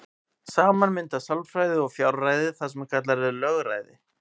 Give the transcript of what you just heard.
Saman mynda sjálfræði og fjárræði það sem kallað er lögræði.